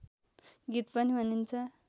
गीत पनि भनिन्छ